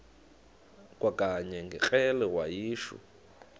kwakanye ngekrele wayishu